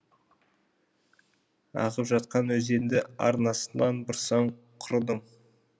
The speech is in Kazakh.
ағып жатқан өзенді арнасынан бұрсаң құрыдың